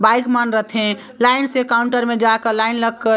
bike मन रथे line से काउंटर मे जाकर लाइन लगकर --